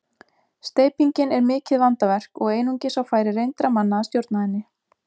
Steypingin er mikið vandaverk og einungis á færi reyndra manna að stjórna henni.